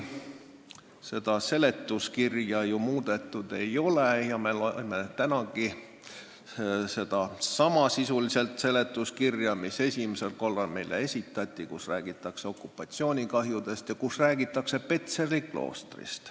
Seda seletuskirja muudetud ei ole ja me loeme tänagi sisuliselt sedasama seletuskirja, mis esimesel korral meile esitati ja kus räägitakse okupatsioonikahjudest ja kus räägitakse ka Petseri kloostrist.